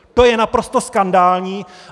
To je naprosto skandální.